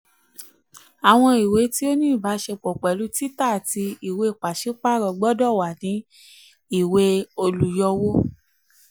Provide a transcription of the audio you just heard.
àwọn ìwé um tí ó ní ìbáṣepọ̀ pẹ̀lú títà àti ìwé pàṣípààrọ̀ gbọdọ̀ wà ní ìwé olùyọwó.